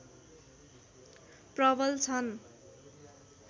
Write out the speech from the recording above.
प्रबल छन्